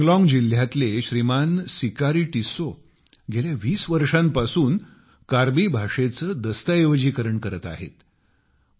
कार्बी अँग्लोन्ग जिल्ह्यातले सिकारी टिस्सौ गेल्या 20 वर्षांपासून कार्बी भाषेचे दस्तऐवजीकरण करत आहेत